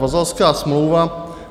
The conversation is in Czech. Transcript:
Vazalská smlouva.